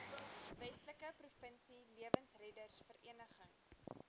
westelike provinsie lewensreddersvereniging